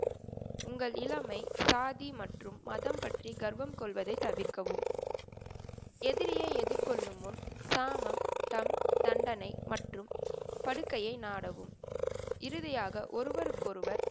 உங்கள் இளமை சாதி மற்றும் மதம் பற்றி கர்வம் கொள்வதை தவிர்க்கவும். எதிரியை எதிர்கொள்ளும் முன் சாமம் தம் தண்டனை மற்றும் படுக்கையை நாடவும், இறுதியாக ஒருவருக்கொருவர்,